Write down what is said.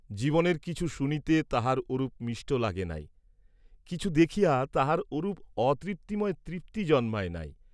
জীবনের কিছু শুনিতে তাঁহার ওরূপ মিষ্ট লাগে নাই, কিছু দেখিয়া তাঁহার ওরূপ অতৃপ্তিময় তৃপ্তি জন্মায় নাই।